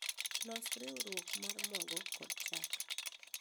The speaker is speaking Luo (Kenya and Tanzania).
Los riurwok mar mogo kod chak